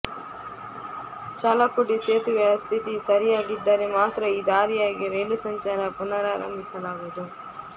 ಚಾಲಕ್ಕುಡಿ ಸೇತುವೆಯ ಸ್ಥಿತಿ ಸರಿಯಾಗಿದ್ದರೆ ಮಾತ್ರ ಈ ದಾರಿಯಾಗಿ ರೈಲು ಸಂಚಾರ ಪುನರಾಂಭಿಸಲಾಗುವುದು